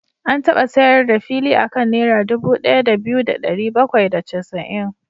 An taba sayar da fili a kan Naira dubu ɗaya da biyu da ɗari bakwai da casa'in.